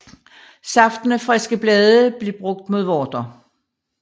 Saften af friske blade blev brugt mod vorter